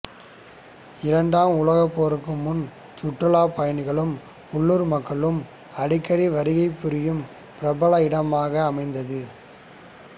இரண்டாம் உலகப் போருக்கு முன் சுற்றுலாப் பயணிகளும் உள்ளூர் மக்களும் அடிக்கடி வருகைப் புரியும் பிரபல இடமாக அமைந்தது